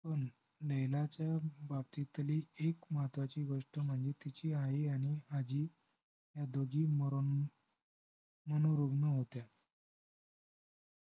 अजून नैनाच्या बाबतीतली तरी एक महत्वाची गोष्ट म्हणजे तिची आई आणि आजी ह्या दोघी मरून मनोरुग्ण होत्या